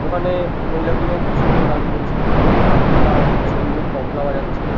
ওখানে মহিলাগুলো খুব সুন্দর গান করছিলো। কাকুটা খুব সুন্দর তবলা বাজাচ্ছিল।